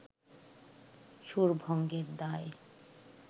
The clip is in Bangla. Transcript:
সুরভঙ্গের দায়